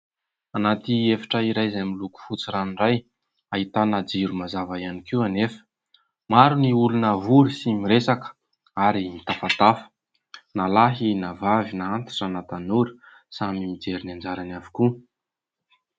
Anaty efitra iray izay miloko fotsy ranoray, ahitana jiro mazava ihany koa nefa. Maro ny olona vory sy miresaka ary mitafatafa ; na lahy na vavy, na antitra na tanora samy mijery ny anjarany avokoa.